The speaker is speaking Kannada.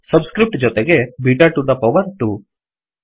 ಸಬ್ ಸ್ಕ್ರಿಫ್ಟ್ ಜೊತೆಗೆ ಬೀಟಾ ಟು ದ ಪವರ್ 2